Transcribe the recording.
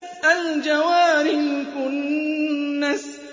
الْجَوَارِ الْكُنَّسِ